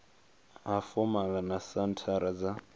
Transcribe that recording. ha fomala na senthara dza